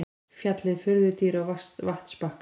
Fjallið furðudýr á vatnsbakka.